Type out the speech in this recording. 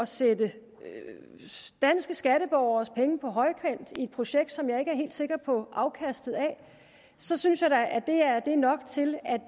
sætte danske skatteborgeres penge på højkant i et projekt som jeg ikke er helt sikker på afkastet af så synes jeg da at det er nok til at